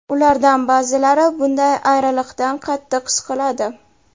Ulardan ba’zilari bunday ayriliqdan qattiq siqiladi.